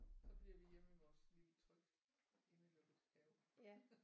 Så bliver vi hjemme i vores lille trygge indelukkede have